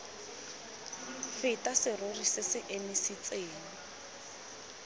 feta serori se se emisitseng